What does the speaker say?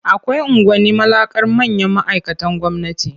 Akwai unguwanni mallakar manyan ma'aikatan gwamnati.